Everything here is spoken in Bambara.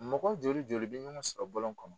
Mɔgɔ joli joli bɛ ɲɔgɔn sɔrɔ bɔlɔn kɔnɔ.